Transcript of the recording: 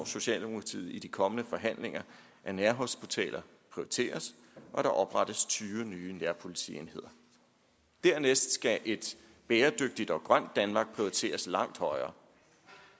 socialdemokratiet i de kommende forhandlinger at nærhospitaler prioriteres og at der oprettes tyve nye nærpolitienheder dernæst skal et bæredygtigt og grønt danmark prioriteres langt højere